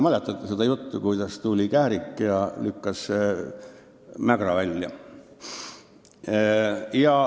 Mäletate seda juttu, kuidas tuli kährik ja lükkas mägra välja.